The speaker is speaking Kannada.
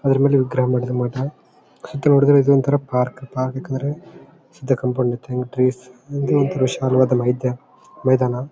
ಅದರ ಮೇಲೆ ಮಠ ಅದರ ಒಳಗಡೆ ಇದು ಒಂತರ ಪಾರ್ಕ್ ಪಾರ್ಕ್ ಏಕೆಂದ್ರೆ ಇದ್ದ ಕಾಂಪೌಂಡ್ ಅಂಡ್ ಟ್ರೀಸ್ ಹಿಂದೆ ಒಂದು ವಿಶಾಲವಾದ ಮೈದ ಮೈದಾನ.